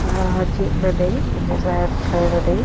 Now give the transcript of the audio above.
ह्या जिममध्ये म्हणजेच व्यायाम शाळेमध्ये--